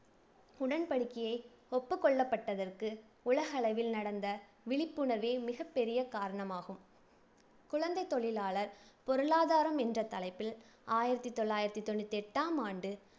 உடன்படிக்கையை ஒப்புக் கொள்ளப்பட்டதற்கு உலகளவில் நடந்த விழிப்புணர்வே மிகப்பெரிய காரணமாகும். குழந்தைத் தொழிலாளர் பொருளாதாரம் என்ற தலைப்பில் ஆயிரத்தி தொள்ளாயிரத்தி தொண்ணூத்தி எட்டாம் ஆண்டு